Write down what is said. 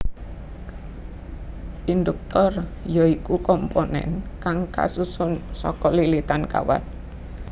Induktor ya iku komponen kang kasusun saka lilitan kawat